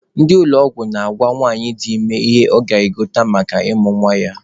Ndị ụlọ ọgwụ na-agwa nwanyị dị ime ihe ọ ga-egote maka ịmụ nwa ya.